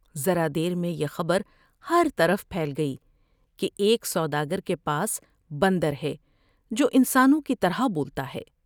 ذرا دیر میں یہ خبر ہر طرف پھیل گئی کہ ایک سوداگر کے پاس بندر ہے جو انسانوں کی طرح بولتا ہے ۔